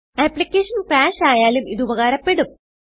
application crash ആയാലും ഇത് ഉപകാരപ്പെടും